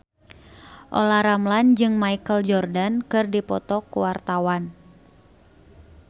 Olla Ramlan jeung Michael Jordan keur dipoto ku wartawan